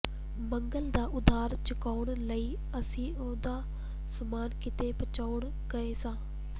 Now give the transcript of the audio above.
ਮੰਗਲ ਦਾ ਉਧਾਰ ਚੁਕਾਉਣ ਲਈ ਅਸੀਂ ਉਹਦਾ ਸਮਾਨ ਕਿਤੇ ਪਹੁੰਚਾਉਣ ਗਏ ਸਾਂ